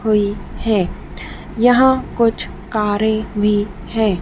हुई है यहां कुछ कारे भी है।